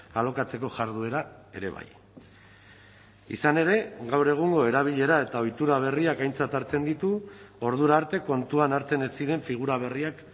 alokatzeko jarduera ere bai izan ere gaur egungo erabilera eta ohitura berriak aintzat hartzen ditu ordura arte kontuan hartzen ez ziren figura berriak